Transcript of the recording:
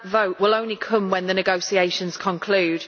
that vote will only come when the negotiations conclude.